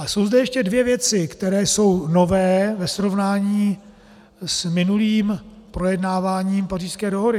A jsou zde ještě dvě věci, které jsou nové ve srovnání s minulým projednáváním Pařížské dohody.